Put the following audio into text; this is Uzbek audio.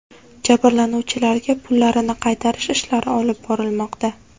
Jabrlanuvchilarga pullarini qaytarish ishlari olib borilmoqda.